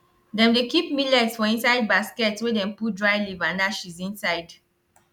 dem dey keep millet for inside basket wey dem put dry leaf and ashes inside